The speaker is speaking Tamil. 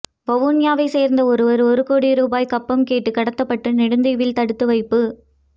வவுனியாவை சேர்ந்த ஒருவர் ஒரு கோடி ரூபா கப்பம் கேட்டு கடத்தப்பட்டு நெடுந்தீவில் தடுத்து வைப்பு